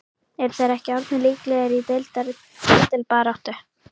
Eru þeir ekki orðnir líklegir í deildar titilbaráttu??